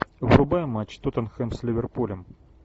врубай матч тоттенхэм с ливерпулем